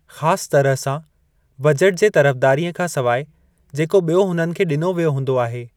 ख़ासि तरह सां, बजट जे तरफ़दारीअ खां सवाइ जेको ब॒यो हुननि खे ॾिनो वियो हूंदो आहे।